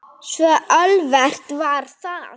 Svo auðvelt var það.